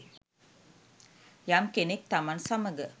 යම් කෙනෙක් තමන් සමඟ